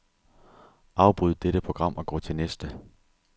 Afbryd dette program og gå til næste.